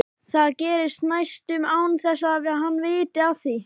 Það gerist næstum án þess að hann viti af því.